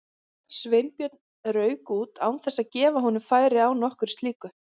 Sveinbjörn rauk út án þess að gefa honum færi á nokkru slíku.